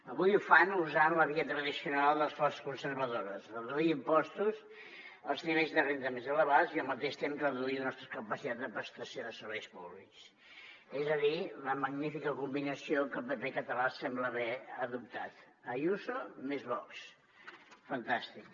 avui ho fan usant la via tradicional de les forces conservadores reduir impostos als nivells de renda més elevats i al mateix temps reduir la nostra capacitat de prestació de serveis públics és a dir la magnífica combinació que el pp català sembla haver adoptat ayuso més vox fantàstic